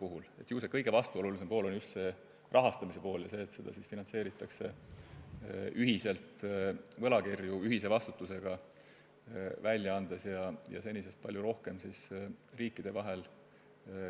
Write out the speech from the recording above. Ju see kõige vastuolulisem pool on just see rahastamise pool ja asjaolu, et seda finantseeritakse ühiselt, võlakirju ühise vastutusega välja andes ja senisest palju rohkem riikide vahel